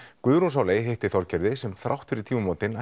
Guðrún Sóley hitti Þorgerði sem þrátt fyrir tímamótin